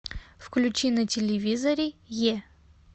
включи на телевизоре е